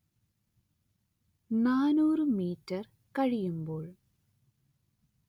നാനൂറ് മീറ്റർ കഴിയുമ്പോൾ